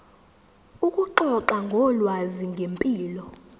ukuxoxa ngolwazi ngempilo